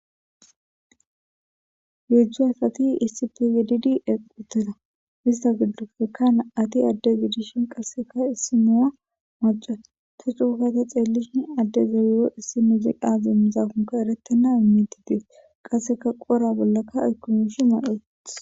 Heezzu asati issippe gididi eqqi uttida. Istta giddoppekka na7ati adde gidishin qassekka issiniya macca. Ta coo gada xeelishin addezayo issi muuziqa awan dendizaakon eretena. Qassekka qoora bollakka aykko miishsha ma7i uuttis.